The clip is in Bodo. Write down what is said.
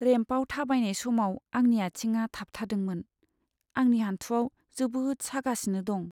रेम्पआव थाबायनाय समाव आंनि आथिङा थाबथादोंमोन। आंनि हानथुआव जोबोद सागासिनो दं।